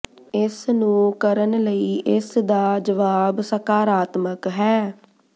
ਇਸ ਨੂੰ ਕਰਨ ਲਈ ਇਸ ਦਾ ਜਵਾਬ ਸਕਾਰਾਤਮਕ ਹੈ